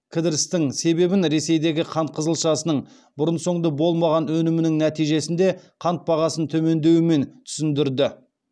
кідірістің себебін ресейдегі қант қызылшасының бұрын соңды болмаған өнімінің нәтижесінде қант бағасын төмендеуімен түсіндірді